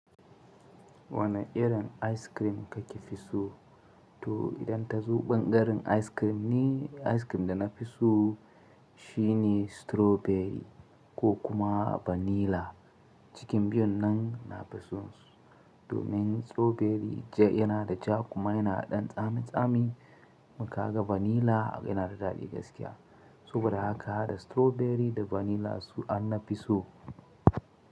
Wane irin ice cream kake fi so? To idan ta zuben karin ice cream ice cream da na fi so shine strawberry ko kuma vanilla. Cikin biyun nan na fi so domin strawberry yana da ja kuma yana da tsamin tsami. Kuma kaga vanilla yana da daɗi gaskiya. Saboda haka hada strawberry da vanilla su an na fi so.